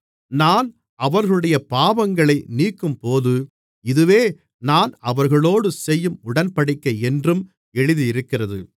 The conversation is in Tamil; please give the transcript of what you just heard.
நான் அவர்களுடைய பாவங்களை நீக்கும்போது இதுவே நான் அவர்களோடு செய்யும் உடன்படிக்கை என்றும் எழுதியிருக்கிறது